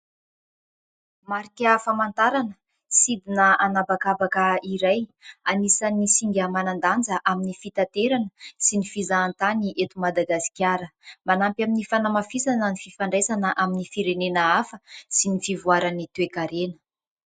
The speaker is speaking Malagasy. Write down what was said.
Marika famantarana sidina anabakabaka iray. Anisan'ny singa manan-danja amin'ny fitanterana sy ny fizahan-tany eto Madagasikara. Manampy amin'ny fanamafisana ny fifandraisana amin'ny firenena hafa sy ny fivoaran'ny toe-karena.